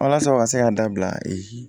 Walasa u ka se k'an dabila